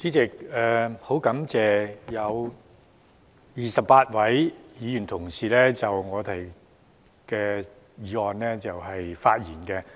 主席，我很感謝有28位議員同事就我提出的議案發言。